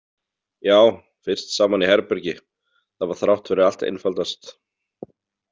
Já, fyrst saman í herbergi, það var þrátt fyrir allt einfaldast.